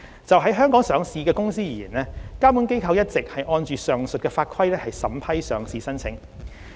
就於香港上市的公司而言，監管機構一直按上述法規審批上市申請。